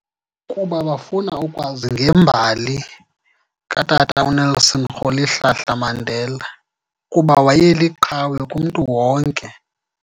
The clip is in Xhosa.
Kuba bafuna ukwazi ngembali katata uNelson Rolihlahla Mandela, kuba wayeliqhawe kumntu wonke.